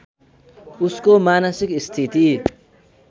उसको मानसिक स्थिति